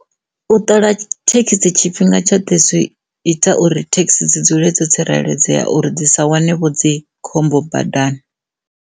U ṱola thekhisi tshifhinga tshoṱhe zwi ita uri thekhisi dzi dzule dzo tsireledzea uri dzi sa wane vho dzi khombo badani.